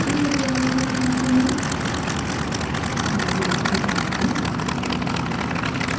इस tutorial में हम सीखेंगे: filezilla के बारे में